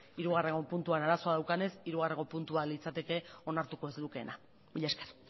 hirugarrengo puntuan arazoa daukanez hirugarrengo puntua litzateke onartuko ez lukeena mila esker